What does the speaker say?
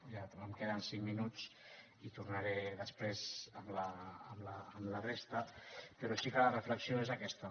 em queden cinc minuts i tornaré després amb la resta però sí que la reflexió és aquesta